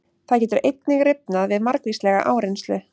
Það getur einnig rifnað við margvíslega áreynslu.